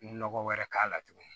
Nɔgɔ wɛrɛ k'a la tuguni